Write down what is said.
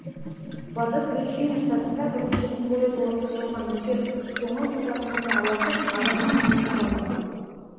батыс вирджиния штатында бірнеше күн бойы толассыз жауған нөсер соңы су тасқынына ұласып адамның өмірін жалмады